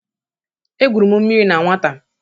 Egwuru m mmiri na nwata.